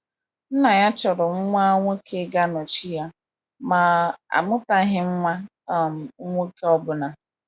Nna ya chọrọ nwa nwoke ga - anọchi ya, ma o amụtaghị nwa um nwoke ọbụna.